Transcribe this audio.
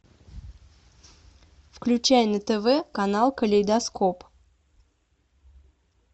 включай на тв канал калейдоскоп